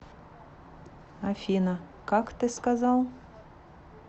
афина как ты сказал